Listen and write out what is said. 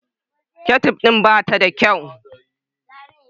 Ketciuf din ba ta da kyau.